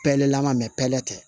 Pɛlɛla ma pɛlɛn tɛ